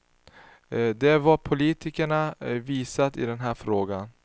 Det är vad politikerna visat i den här frågan.